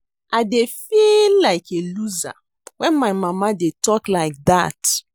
I dey feel like a loser wen my mama dey talk like dat